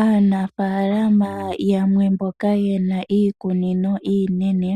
Aanafalama yamwe mboka ye na iikunino inene,